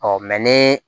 ni